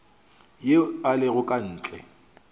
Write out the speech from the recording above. ye e lego ka ntle